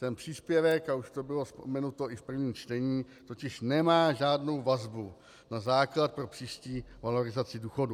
Ten příspěvek, a už to bylo vzpomenuto i v prvním čtení, totiž nemá žádnou vazbu na základ pro příští valorizaci důchodu.